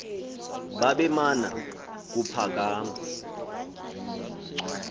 babe mana kuphakama